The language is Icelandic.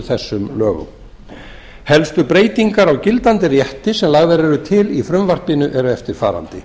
þessum lögum helstu breytingar á gildandi rétti sem lagðar eru til í frumvarpinu eru eftirfarandi